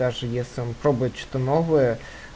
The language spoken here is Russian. даже если он пробует что-то новое